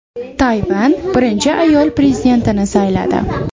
Tayvan birinchi ayol prezidentini sayladi.